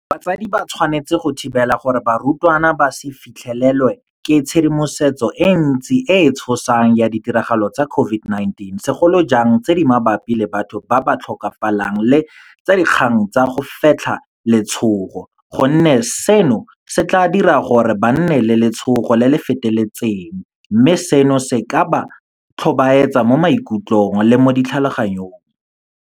Batsadi ba tshwanetse go thibela gore barutwana ba se fitlhelelwe ke tshedimosetso e ntsi e e tshosang ya ditiragalo tsa COVID-19, segolo jang tse di mabapi le batho ba ba tlhokafalang le tsa dikgang tsa go fetlha letshogo, gonne seno se tla dira gore ba nne le letshogo le le feteletseng mme seno se ka ba tlhobaetsa mo maikutlong le mo ditlhaloganyong.